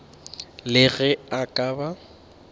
le ge a ka ba